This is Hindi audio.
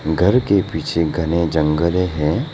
घर के पीछे घने जंगल अ हैं।